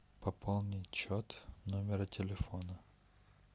пополнить счет номера телефона